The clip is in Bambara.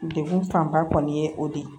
Degun fanba kɔni ye o de ye